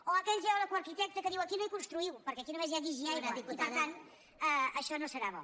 o aquell geòleg o arquitecte que diu aquí no hi construïu perquè aquí només hi ha guix i aigua i per tant això no serà bo